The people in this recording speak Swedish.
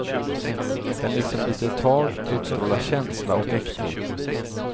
Den liksom biter tag, utstrålar känsla och äkthet.